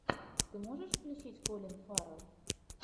ты можешь включить колин фаррелл